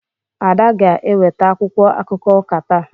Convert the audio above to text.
Ada ga-eweta akwụkwọ akụkọ ụka taa.